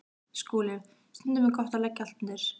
SKÚLI: Stundum er gott að leggja allt undir.